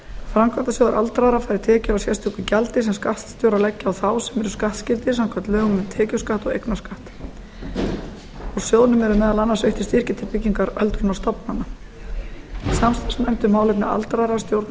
framkvæmdasjóður aldraðra fær tekjur af sérstöku gjaldi sem skatt ber að leggja á þá sem eru skattskyldir samkvæmt lögum um tekjuskatt og eignarskatt á sjóðnum er meðal annars veittir styrkir til byggingar öldrunarstofnana samt ættu málefni aldraðra að stjórna